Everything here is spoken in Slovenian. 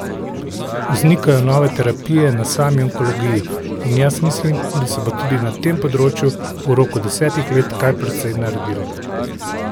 Vznikajo nove terapije na sami onkologiji in jaz mislim, da se bo tudi na tem področju v roku desetih let kar precej naredilo.